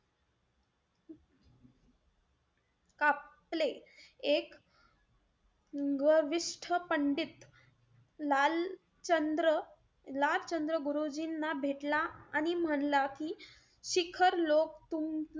कापले. एक गर्विष्ठ पंडित लाल चंद्र-लाल चंद्र गुरुजींना भेटला आणि म्हणला की शिखर लोक,